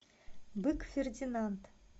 бык фердинанд